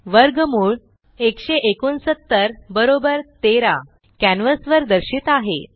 वर्गमूळ 169 13 कॅन्वस वर दर्शित आहे